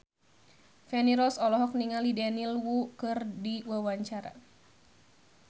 Feni Rose olohok ningali Daniel Wu keur diwawancara